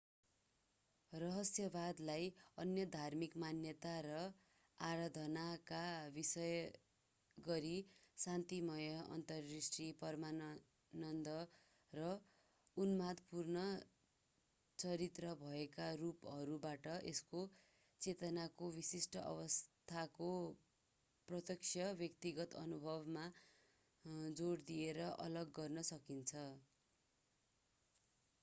रहस्यवादलाई अन्य धार्मिक मान्यता र आराधनाका विशेषगरी शान्तिमय अन्तरदृष्टि परमानंद वा उन्मादपूर्ण चरित्र भएकारूपहरूबाट यसको चेतनाको विशिष्ट अवस्थाको प्रत्यक्ष व्यक्तिगत अनुभवमा जोड दिएर अलग गर्न सकिन्छ